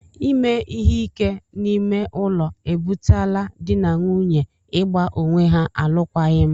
Ime ihe ike n'ime ụlọ e butela dị na nwunye ị gba onwe ha alụkwaghịm.